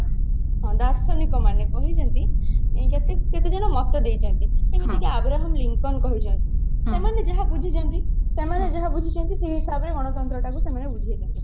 ଦାର୍ଶନିକ ମାନେ କହିଛନ୍ତି ଯେତିକି କେତେଜଣ ମତ ଦେଇଛନ୍ତି ଯେମିତିକି ଆବ୍ରାହମ ଲିଙ୍କନ କହିଛନ୍ତି ସେମାନେ ଯାହା ବୁଝିଛନ୍ତି ସେମାନେ ଯାହା ବୁଝିଛନ୍ତି ସେଇ ହିସାବରେ ଗଣତନ୍ତ୍ର ଟା କୁ ସେମାନେ ବୁଝେଇଛନ୍ତି